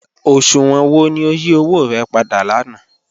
Oṣuwọn wọ ni o yí owo rẹ̀ pàdà lànà?